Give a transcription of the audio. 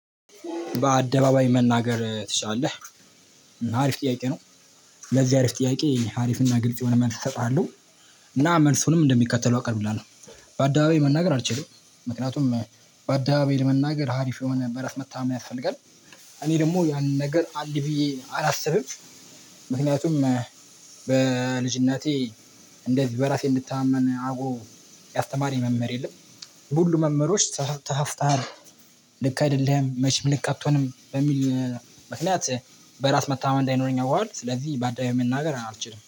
በአደባባይ መናገር ትችላለህ? አሪፍ ጥያቄ ነው""" ለዚህ አሪፍ ጥያቄ፣ አሪፍና ግልጽ የሆነ መልስ እሰጥሃለሁ። እና መልሱንም እንደሚከተለው አቀርብላለሁ። በአዳባባይ መናገር አልችልም፣ ምክንያቱም በአዳባባይ ለመናገር አሪፍ የሆነ በራስ መተማመን ያስፈልጋል፣ እኔ ደግሞ ያ ነገር አለ ብዬ አላስብም፣ ምክንያቱም""" በልጅነቴ እንደዚህ በራሴ እንድተማመን አድርጎ ያስተማረኝ መምህር የለም፣ ሁሉም መምህሮች ተሳስተሃል፣ ልክ አይደለህም፣ መቼም ልክ አትሆንም፣ በሚል ምክንያት""" በራስ መታመን እንዳይኖረኝ አውቃለሁ፣ ስለዚህ በአደባባዊ መናገር አልችልም